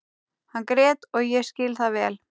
Hann grét og ég skil það vel.